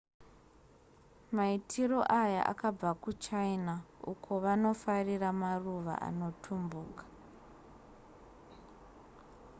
maitiro aya akabva kuchina uko vanofarira maruva anotumbuka